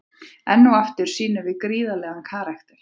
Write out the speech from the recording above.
Enn og aftur sýnum við gríðarlegan karakter.